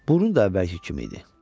Burun da əvvəlki kimi idi.